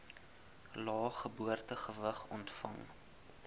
lae geboortegewig ontvang